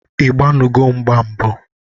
Ị gbanugo mgba mbụ?